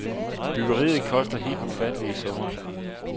Bygeriet koster helt ufattelige summer.